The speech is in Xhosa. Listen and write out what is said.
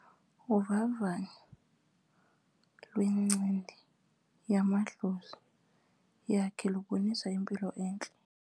Uvavanyo lwencindi yamadlozi yakhe lubonisa impilo entle.